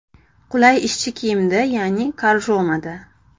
Qulay ishchi kiyimda ya’ni korjomada.